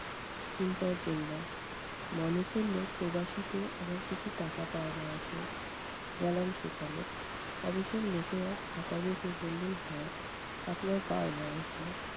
চিন্তায় পড়লাম। মনে পড়ল প্রবাসীতে আমার কিছু টাকা পাওনা আছে, গেলাম সেখানে। office এর লোকেরা খাতা দেখে বললেন- হ্যা, আপনার পাওনা আছে।